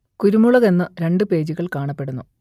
കുരുമുളക് എന്ന് രണ്ട് പേജുകൾ കാണപ്പെടുന്നു